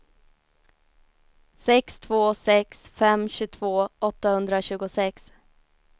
sex två sex fem tjugotvå åttahundratjugosex